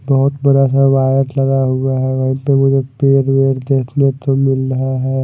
बहोत बड़ा सा वायर लगा हुआ है वहीं पे मुझे पेड़ वेड देखने को मिल रहा है।